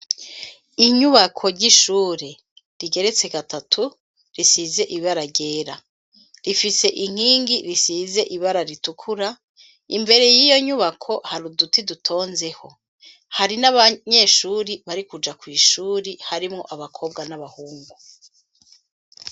Inyubako ry'ishuri, rigeretse gatatu, risize ibara ryera; rifise inkingi risize ibara ritukura, imbere y'iyo nyubako, hari uduti dutonzeho; hari n'abanyeshuri bari kuja kw'ishuri, harimwo abakobwa n'abahungu.